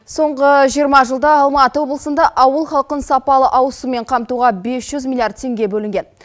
соңғы жиырма жылда алматы облысында ауыл халқын сапалы ауыз сумен қамтуға бес жүз миллиард теңге бөлінген